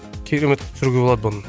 керемет түсіруге болады бұны